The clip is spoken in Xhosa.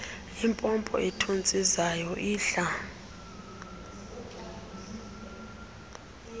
impompo ethontsizayo idla